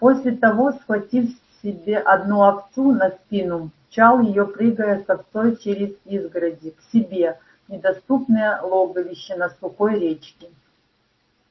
после того схватив себе одну овцу на спину мчал её прыгая с овцой через изгороди к себе в недоступное логовище на сухой речке